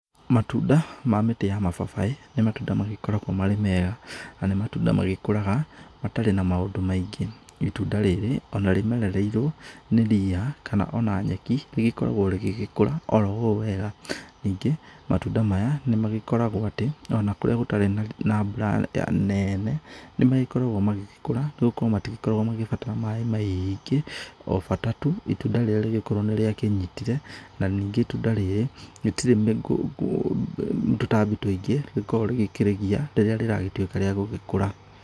Matunda ma mĩtĩ ya mababaĩ nĩ matunda magĩkoragwo marĩ mega, na nĩ matunda magĩkũraga matarĩ na maũndũ maingĩ. Itunda rĩrĩ ona rĩmerereirwo nĩ ria kana ona nyeki, rĩgĩkoragwo rĩgĩgĩkũra oro ũũ wega. Ningĩ, matunda maya nĩ magĩkoragwo atĩ, ona kũrĩa gũtarĩ na mbura nene nĩ magĩkoragwo magĩgĩkũra nĩ gũkorwo matĩgĩkoragwo magĩbatara maaĩ maingĩ, o bata tu itunda rĩrĩ rĩgĩkorwo nĩ rĩa kĩnyitire. Na ningĩ itunda rĩrĩ rĩtirĩ tũtambi tũingĩ rĩkorwo rĩgĩkĩgia rĩrĩa rĩragĩtũĩka ria gũgĩkũra.